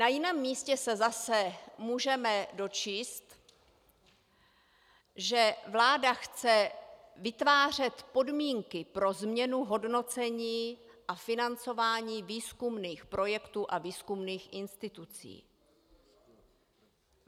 Na jiném místě se zase můžeme dočíst, že vláda chce vytvářet podmínky pro změnu hodnocení a financování výzkumných projektů a výzkumných institucí.